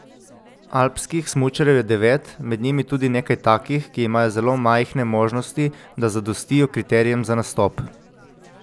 Alpskih smučarjev je devet, med njimi tudi nekaj takih, ki imajo zelo majhne možnosti, da zadostijo kriterijem za nastop.